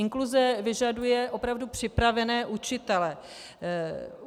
Inkluze vyžaduje opravdu připravené učitele.